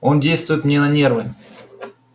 он действует мне на нервы